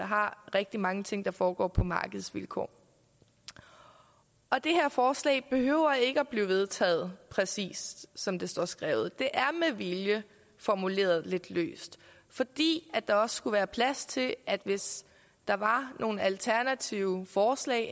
har rigtig mange ting der foregår på markedsvilkår og det her forslag behøver ikke at blive vedtaget præcis som det står skrevet det er med vilje formuleret lidt løst fordi der også skulle være plads til at hvis der var nogle alternative forslag